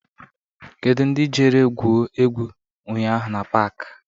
Kedụ ndị jere gwuo egwu ụnyaahụ n'pak?